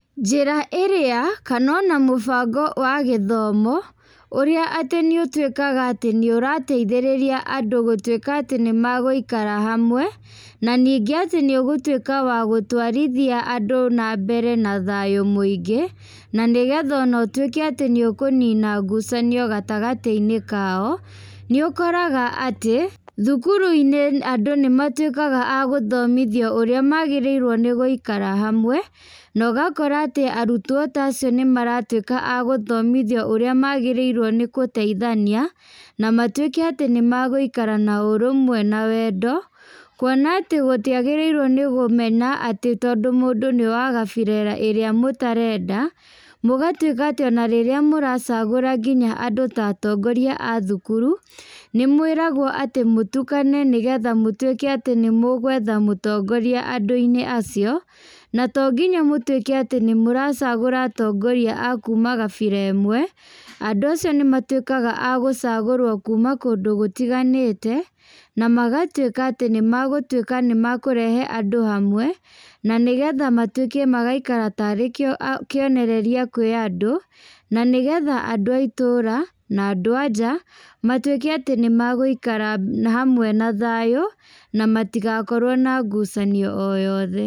Njĩra ĩrĩa, kana ona mũbango wa gĩthomo, ũrĩa atĩ nĩ ũtuĩkaga atĩ nĩ ũrateithĩrĩria andũ gũtuĩka atĩ nĩ magũikara hamwe, na ningĩ atĩ nĩ ũgũtuĩka wa gũtwarithia andũ na mbere na thayũ mũingĩ, na nĩgetha ona ũtuĩke atĩ nĩ ũkũnina ngucanio gagatĩ-inĩ kao, nĩ ũkoraga atĩ, thukuru-inĩ andũ nĩ matuĩkaga a gũthomithio ũrĩa magĩrĩirwo nĩ gũikara hamwe, na ũgakora atĩ arutwo ta acio nĩ maratuĩka a gũthomithio ũrĩa magĩrĩirwo nĩ kũteithania, na matuĩke atĩ nĩ magũikara na ũrũmwe na wendo, kuona atĩ gũtiagĩrĩirwo nĩ gũmena atĩ tondũ mũndũ wa gabira ĩrĩa mũtarenda, mũgatuĩka atĩ ona rĩrĩa mũracagũra nginya andũ ta atongoria a thukuru, nĩ mwĩragwo atĩ mũtukane nĩgetha mũtuĩke atĩ nĩ mũgwetha mũtongoria andũ-inĩ acio, na to nginya mũtuĩke atĩ nĩ mũracagũra atongoria a kuuma gabira ĩmwe, andũ acio nĩ matuĩkaga a gũcagũrwo kuuma kũndũ gũtiganĩte, na magatuĩka atĩ nĩ magũtuĩka nĩ makũrehe andũ hamwe, na nĩgetha matuĩke magaikara tarĩ kĩo kĩonereria kwĩ andũ, na nĩgetha andũ a itũũra, na andũ a nja, matuĩke atĩ nĩ magũikara hamwe na thayũ, na matigakorwo na ngucanio o yothe.